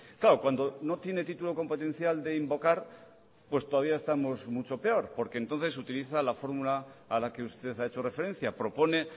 claro cuando no tiene título competencial de invocar pues todavía estamos mucho peor porque entonces utiliza la fórmula a la que usted ha hecho referencia propone